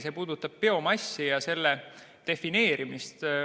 See puudutab biomassi ja selle defineerimist.